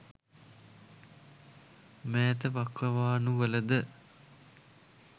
මෑත වකවානුවල ද